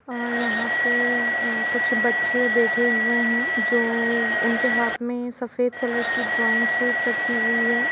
और यहाँ पे अ कुछ बच्चे बेठे हुएँ हैं जो उनके हाँथ में सफेद कलर की ड्राइंग शीट रखी हुई है।